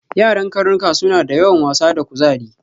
Yaran karnuka suna da yawan wasa da kuzari.